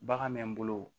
Bagan bɛ n bolo